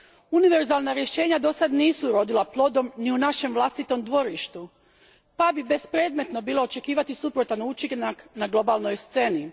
Univerzalna rješenja dosad nisu urodila plodom ni u našem vlastitom dvorištu pa bi bespredmetno bilo očekivati suprotan učinak na globalnoj sceni.